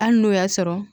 Hali n'o y'a sɔrɔ